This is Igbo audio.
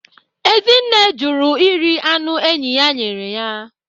Ezinne jụrụ iri anụ enyi ya nyere ya.